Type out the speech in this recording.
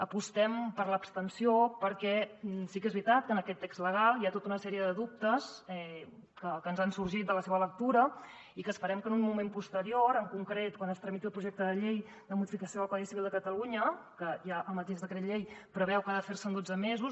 apostem per l’abstenció perquè sí que és veritat que en aquest text legal hi ha tota una sèrie de dubtes que ens han sorgit de la seva lectura i esperem que en un moment posterior en concret quan es tramiti el projecte de llei de modificació del codi civil de catalunya que ja el mateix decret llei preveu que ha de fer se en dotze mesos